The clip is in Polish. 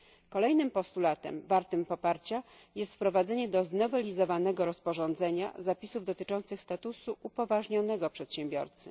Kolejnym postulatem wartym poparcia jest wprowadzenie do znowelizowanego rozporządzenia zapisów dotyczących statusu upoważnionego przedsiębiorcy.